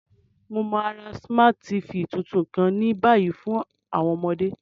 Mo ma ra Smart TV tuntun kan ni bayi fun àwọn ọmọde.